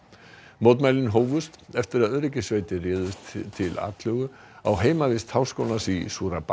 mótmælin hófust eftir að öryggissveitir réðust til atlögu á heimavist Háskólans í